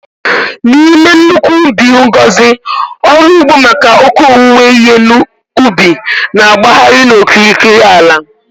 N'ime nnukwu ubi ngọzi ọrụ ugbo maka oke owuwe ihe ubi na-agbagharị n'okirikiri ala.